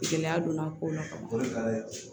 Gɛlɛya donna kow la ka ban ka